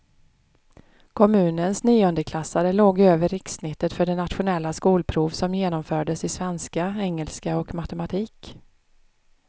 Kommunens niondeklassare låg över rikssnittet för det nationella skolprov som genomfördes i svenska, engelska och matematik.